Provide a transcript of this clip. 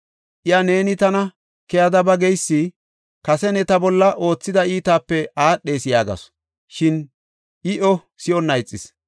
Iya, “Neeni tana keyada ba geysi kase ne ta bolla oothida iitaape aadhees” yaagasu. Shin I iyo si7onna ixis.